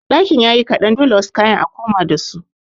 Ɗakin yayi kaɗan dole wasu kayan a koma dasu.